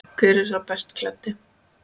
Hver er sá best klæddi?